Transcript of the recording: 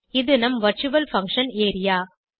இது நம் virtual function area